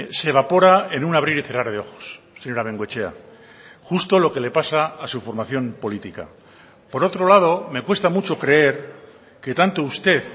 se evapora en un abrir y cerrar de ojos señora bengoechea justo lo que le pasa a su formación política por otro lado me cuesta mucho creer que tanto usted